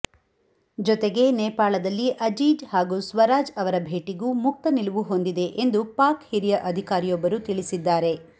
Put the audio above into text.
ಜತೆಗೆ ನೇಪಾಳದಲ್ಲಿ ಅಜೀಜ್ ಹಾಗೂ ಸ್ವರಾಜ್ ಅವರ ಭೇಟಿಗೂ ಮುಕ್ತ ನಿಲುವು ಹೊಂದಿದೆ ಎಂದು ಪಾಕ್ ಹಿರಿಯ ಅಧಿಕಾರಿಯೊಬ್ಬರು ತಿಳಿಸಿದ್ದಾರೆ